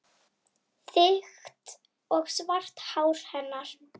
Þykkt og svart hár hennar.